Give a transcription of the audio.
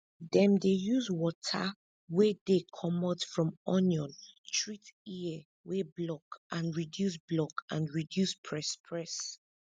dem dey use water wey dey comot from onion treat ear wey block and reduce block and reduce press press